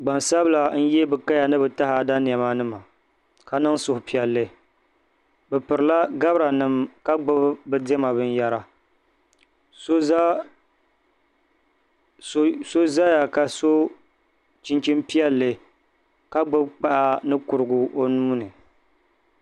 gbansabila n-ye bɛ kaya ni bɛ taada nɛma ka niŋ suhupiɛllli bɛ pirila gabiranima ka gbubi bɛ diɛma binyɛra so zaya ka so chinchini piɛlli ka gbubi kpaa ni kurigu o nuu ni